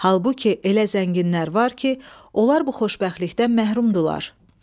Halbuki elə zənginlər var ki, onlar bu xoşbəxtlikdən məhrumdular.